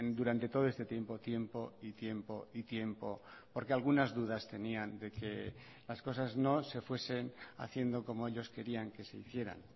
durante todo este tiempo tiempo y tiempo y tiempo porque algunas dudas tenían de que las cosas no se fuesen haciendo como ellos querían que se hicieran